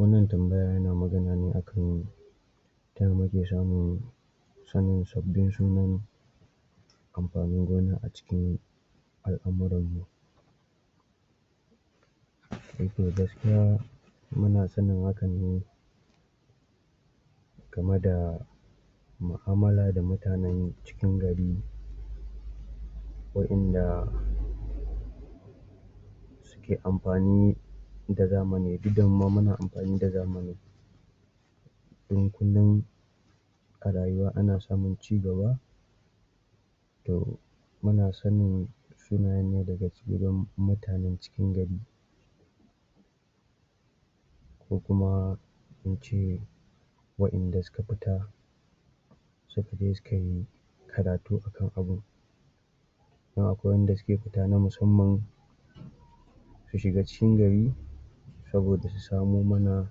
Wannan tambaya yana magana ne akan taya muke samun sanin sabbin sunan amfanin gona a cikin alamuran mu eh to gaskiya muna sanin hakan ne game da al'amura da mutanan cikin gari wa'yan da ke amfani da zamani, duk da muma muna amfani da zamani dan kullin a rayuwa ana samun cigaba to muna sanin sunayan ne daga cikin dan mutan cikin gari ko kuma in ce wa'yan da suka fita suka je su kai karatu akan abun dan akwai wanda suke fita na musamman su shiga cikin gari saboda su samo mana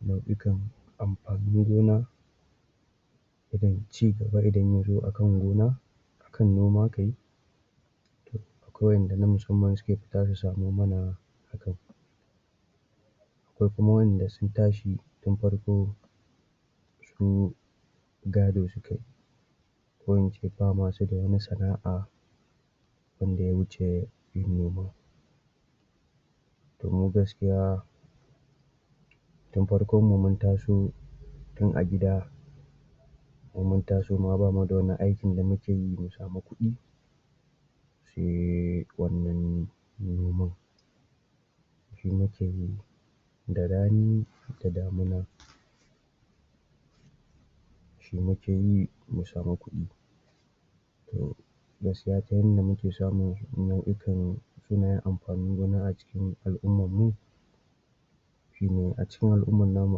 nau'ikan amfanin gona irin cigaba idan yazo akan gona kan noma kai akwai wa'yan da na musamman suke fita su samo mana hakan akwai wa'yan da sun tashi tun farko su gado sukai ko in ce bama su da wani sana'a wanda ya wuce yin noma to mu gaskiya tun farkon mu mun taso tun a gida mun mun taso ma bamu da wani aikin da muke yi mu samu kuɗi sai wannan naman shi muke yi da rani da damuna shi muke yi mu samu kuɗi to gaskiya ta yadda muke samun sunan'ikan sunayen amfanin gona a cikin al'umar mu shine, a cikin al'umar namu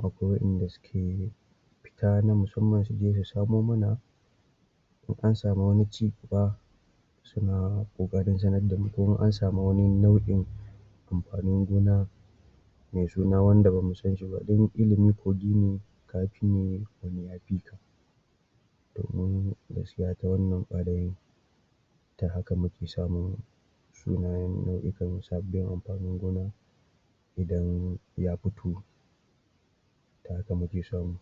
akwai wa'yan da suke fita na musamman suje su samo mana in an samu wani cigaba suna ƙoƙarin sanar damu, ko in ansami wani nau'in amfanin gona mai suna wanda bamu san shi ba, don ilimi kogi ne kafi ne wani ya fika to mu gaskiya ta wannan ɓarin ta haka muka samun sunayen nau'ikan sabbin amfanin gona idan ya fito ta haka muke samu